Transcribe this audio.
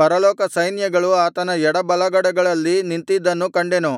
ಪರಲೋಕಸೈನ್ಯಗಳು ಆತನ ಎಡಬಲಗಡೆಗಳಲ್ಲಿ ನಿಂತಿದ್ದನ್ನೂ ಕಂಡೆನು